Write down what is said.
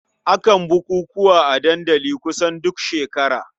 Akan bukukuwa a dandali kusan duk shekara.